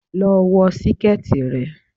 Lọ wọ síkẹ̀tì rẹ.